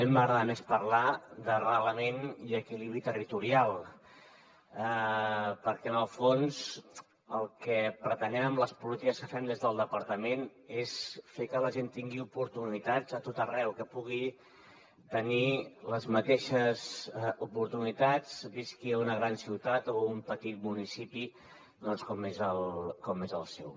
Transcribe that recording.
a mi m’agrada més parlar d’arrelament i equilibri territorial perquè en el fons el que pretenem amb les polítiques que fem des del departament és fer que la gent tingui oportunitats a tot arreu que pugui tenir les mateixes oportunitats visqui a una gran ciutat o a un petit municipi com és el seu